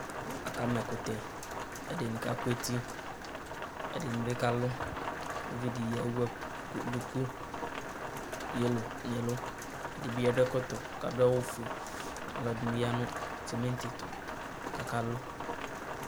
Akama ɛkʋtɛ, ɛdɩnɩ kakʋ eti ɛdɩnɩ bɩ kalʋ uvidɩ bɩ ewu duku yelo nʋ ɛlʋ ɛdɩ bɩ akɔ ɛkɔtɔ kʋ adʋ awʋ ofue alʋ ɛdɩnɩ ya nʋ sɩmɩtɩ ɛtʋ kʋ akalʋ